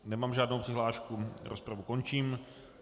Nemám žádnou přihlášku, rozpravu končím.